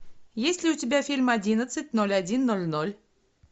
есть ли у тебя фильм одиннадцать ноль один ноль ноль